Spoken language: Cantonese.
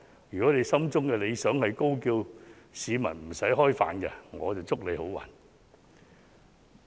如果他心中的理想是高叫市民不用吃飯，我就祝他好運。